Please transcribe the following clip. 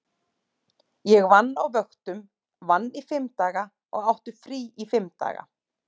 Ég vann á vöktum, vann í fimm daga og átti frí í fimm daga.